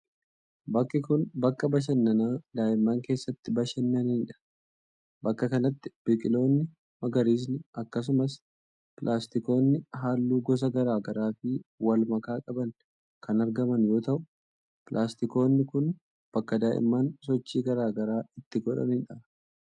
Bakki kun, bakka bashannanaa daa'imman keessatti bashannanii dha. Bakka kanatti biqiloonni magariisni akkasumas pilaastikoonni haalluu gosa garaa garaa fi wal makaa qaban kan argaman yoo ta'u, pilaastikoonni kun bakka daa'imman sochii garaa garaa itti godhanii dha.